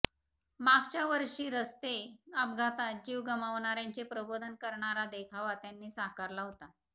मागच्या वर्षी रस्ते अपघातात जीव गमावणाऱ्यांचे प्रबोधन करणारा देखाव त्यांनी साकारला होता